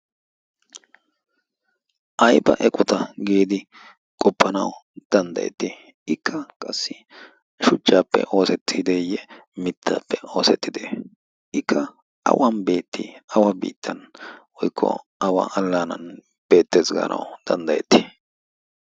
ay ba eqota giidi qoppanawu danddayetti ikka qassi shujjaappe oosettideeyye mittaappe oosettide ikka awan beetti? awa biittan woikko awa allaanan beettees gaanau danddayetti?